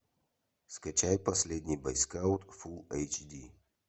скачай последний бойскаут фулл эйч ди